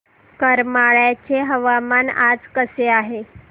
करमाळ्याचे हवामान आज कसे आहे